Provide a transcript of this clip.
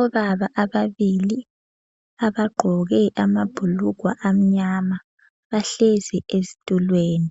Obaba ababili abagqoke amabhulugwe amnyama bahlezi ezitulweni.